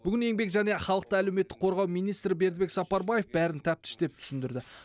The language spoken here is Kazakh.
бүгін еңбек және халықты әлеуметтік қорғау министрі бердібек сапарбаев бәрін тәптіштеп түсіндірді